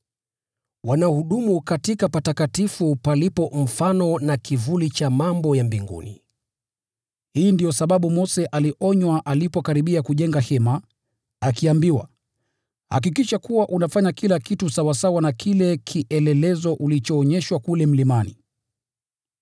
Wanahudumu katika patakatifu palipo mfano na kivuli cha mambo ya mbinguni. Hii ndiyo sababu Mose alionywa alipokaribia kujenga hema, akiambiwa: “Hakikisha kuwa unavitengeneza vitu vyote kwa mfano ulioonyeshwa kule mlimani.”